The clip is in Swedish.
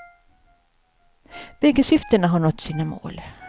Bägge syftena har nått sina mål.